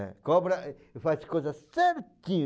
É. Cobra faz coisa certinho.